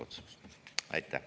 Aitäh!